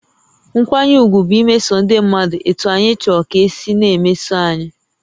Nkwanye ùgwù bụ imeso ndị mmadụ etú anyị chọrọ ka e si na-emeso anyị